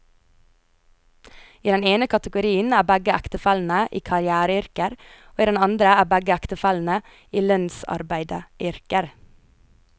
I den ene kategorien er begge ektefellene i karriereyrker, og i den andre er begge ektefellene i lønnsarbeideryrker.